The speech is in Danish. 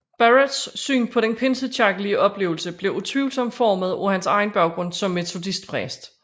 Barratts syn på den pinsekirkelig oplevelse blev utvivlsomt formet af hans egen baggrund som metodistpræst